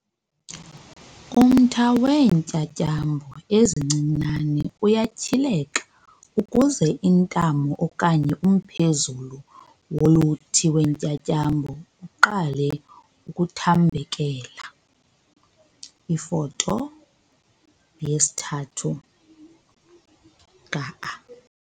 Umtha weentyatyambo ezincinane uyatyhileka ukuze intamo okanye umphezulu woluthi wentyatyambo uqale ukuthambekela, Ifoto yesi-3 ka-a.